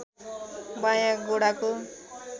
बायाँ गोडाको